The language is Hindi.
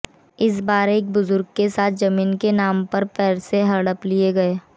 इस बार एक बुजुर्ग के साथ जमीन के नाम पर पैसे हड़प लिए गए